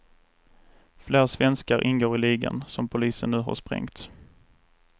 Flera svenskar ingår i ligan som polisen nu har sprängt.